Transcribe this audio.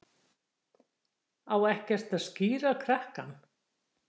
Á ekkert að skíra krakkann?